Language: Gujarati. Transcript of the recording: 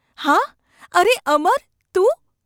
‘હાં. અરે ! અમર ! તું.